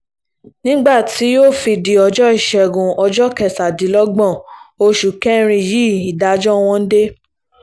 nígbà tí yóò fi di ọjọ́ ìṣẹ́gun ọjọ́ kẹtàdínlọ́gbọ̀n oṣù kẹrin yìí ìdájọ́ wọn dé